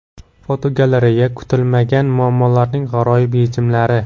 Fotogalereya: Kutilmagan muammolarning g‘aroyib yechimlari.